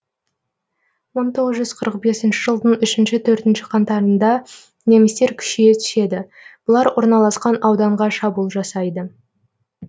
мың тоғыз жүз қырық бесінші жылдың үшінші төртінші қаңтарында немістер күшейе түседі бұлар орналасқан ауданға шабуыл жасайды